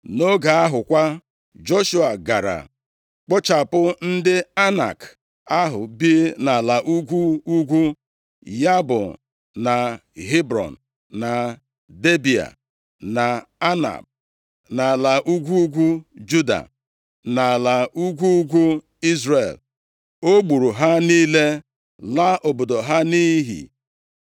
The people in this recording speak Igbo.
Nʼoge ahụ kwa, Joshua gara kpochapụ ndị Anak ahụ bi nʼala ugwu ugwu, ya bụ, na Hebrọn, na Debịa, na Anab, na ala ugwu ugwu Juda, na ala ugwu ugwu Izrel. O gburu ha niile, laa obodo ha nʼiyi.